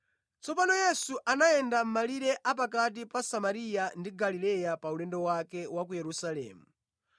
Tsopano Yesu anayenda mʼmalire a pakati pa Samariya ndi Galileya pa ulendo wake wa ku Yerusalemu.